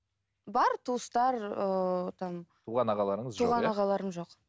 бар туыстар ыыы там туған ағаларыңыз жоқ иә туған ағаларым жоқ